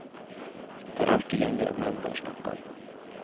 Det er alltid gjenger av menn det er snakk om.